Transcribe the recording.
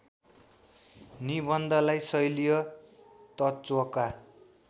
निबन्धलाई शैलीय तत्त्वका